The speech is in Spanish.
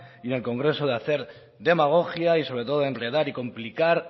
y en el congreso de hacer demagogia y sobre todo enredar y complicar